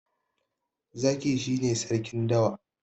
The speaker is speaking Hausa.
zaki shi ne sarkin dawa